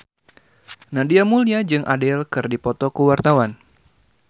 Nadia Mulya jeung Adele keur dipoto ku wartawan